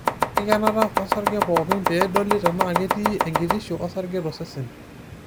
Enkikenata osarge pookin pee edoli tenaa ketii enkitisho osarge tosesen.